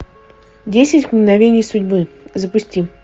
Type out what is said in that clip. десять мгновений судьбы запусти